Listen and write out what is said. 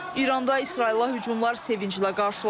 İranda İsrailə hücumlar sevinclə qarşılanıb.